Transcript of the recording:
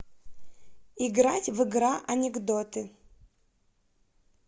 играть в игра анекдоты